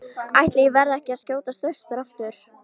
Ætli ég verði ekki að skjótast austur aftur.